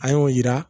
An y'o yira